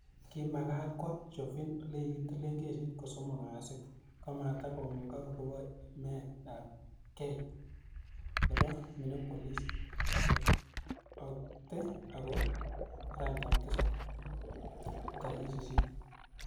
Kimagat kwoo Chauvin ole kitilee kesit ko somok kasit ko matikomugak akopo imet ap kei nebo Minneapolis ke okte akoi araetap tisap tarik sisit.